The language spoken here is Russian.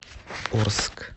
орск